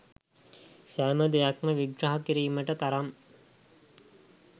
සෑම දෙයක්ම විග්‍රහ කිරීමට තරම්